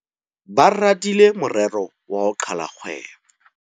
Ba radile morero wa ho qala kgwebo.